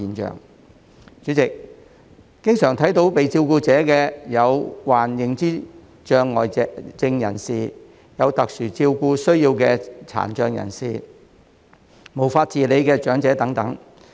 代理主席，常見的被照顧者有：患認知障礙症人士、有特殊照顧需要的殘障人士、無法自理的長者等。